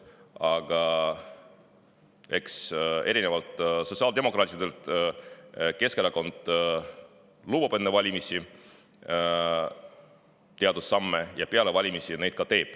Aga erinevalt sotsiaaldemokraatidest lubab Keskerakond enne valimisi teatud samme ja peale valimisi ta neid ka teeb.